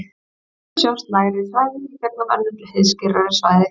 Stundum sjást lægri svæði í gegnum önnur heiðskírari svæði.